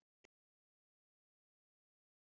Seint þreytist eyrað að heyra.